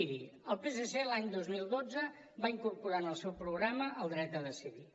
miri el psc l’any dos mil dotze va incorporar en el seu programa el dret a decidir